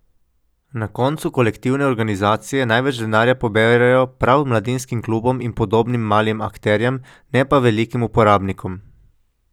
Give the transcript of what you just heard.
Na koncu pa kolektivne organizacije največ denarja poberejo prav mladinskim klubom in podobnih malim akterjem, ne pa velikim uporabnikom.